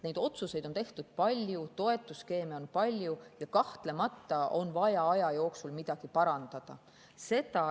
Neid otsuseid on tehtud palju, toetusskeeme on palju ja kahtlemata on vaja aja jooksul midagi parandada.